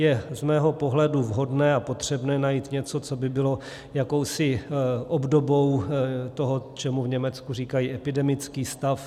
Je z mého pohledu vhodné a potřebné najít něco, co by bylo jakousi obdobou toho, čemu v Německu říkají epidemický stav.